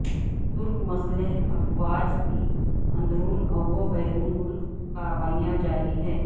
ترک مسلح افواج کی اندرون و بیرون ملک کاروائیاں جاری ہیں